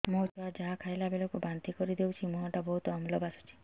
ମୋ ଛୁଆ ଯାହା ଖାଇଲା ବେଳକୁ ବାନ୍ତି କରିଦଉଛି ମୁହଁ ଟା ବହୁତ ଅମ୍ଳ ବାସୁଛି